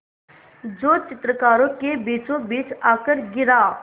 जो चित्रकारों के बीचोंबीच आकर गिरा